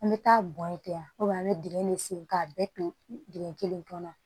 An bɛ taa bɔn yen ten wa an bɛ dingɛ de sen k'a bɛɛ to dingɛ kelen kɔnɔ